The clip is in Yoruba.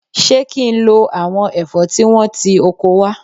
Ṣé kí n lo àwọn ẹ̀fọ́ tí wọ́n ti oko wá?